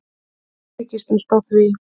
Byggist allt á því.